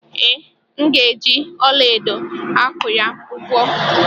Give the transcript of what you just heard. Ee, M ga-eji ọlaedo akụ ya ugwo.